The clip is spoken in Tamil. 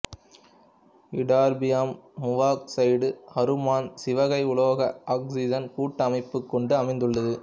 இட்டெர்பியம் மூவாக்சைடு அருமண் சிவகை உலோக ஆக்சிசன் கூட்டு அமைப்பைக் கொண்டு அமைந்துள்ளது